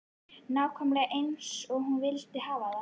Nákvæmlega eins og hún vildi hafa það.